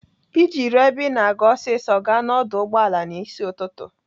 Iji ruo ebe Ị na-aga ọsịsọ, gaa n'ọdụ ụgbọala n'ịsị ụtụtụ.